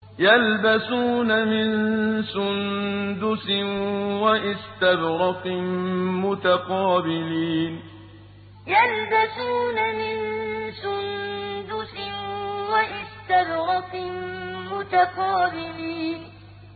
يَلْبَسُونَ مِن سُندُسٍ وَإِسْتَبْرَقٍ مُّتَقَابِلِينَ يَلْبَسُونَ مِن سُندُسٍ وَإِسْتَبْرَقٍ مُّتَقَابِلِينَ